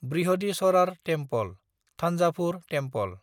Brihadeeswarar temple (Thanjavur temple)